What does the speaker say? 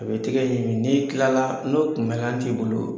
A bɛ tɛgɛ ɲigin. N'i tilala n'o kun ŋaɲa t'i bolo